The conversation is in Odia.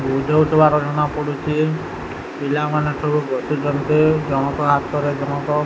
ବୁଝୋଉଥିବାର ଜଣାପଡୁଚି ପିଲାମାନେ ସବୁ ବସିଚନ୍ତି ଜଣକ ହାଥରେ ଜଣକ --